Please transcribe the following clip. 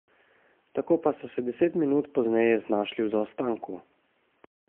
Tako pa so se deset minut pozneje znašli v zaostanku.